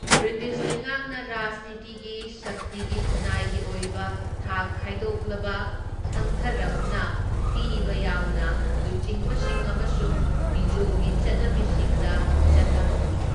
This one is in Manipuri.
ꯕ꯭ꯔꯤꯇꯤꯁ ꯂꯩꯉꯥꯛꯅ ꯔꯥꯖꯅꯤꯇꯤꯒꯤ ꯁꯛꯇꯤꯒꯤ ꯈꯨꯟꯅꯥꯏꯒꯤ ꯑꯣꯏꯕ ꯊꯥꯛ ꯈꯥꯏꯗꯣꯛꯂꯕ ꯊꯪꯊꯔꯞꯅ ꯄꯤꯕ ꯌꯥꯎꯅ ꯂꯨꯆꯤꯡꯕꯁꯤꯡ ꯑꯃꯁꯨꯡ ꯃꯤꯖꯣꯒꯤ ꯆꯠꯅꯕꯤꯁꯤꯡꯗ ꯆꯠꯊꯍꯧꯋꯤ꯫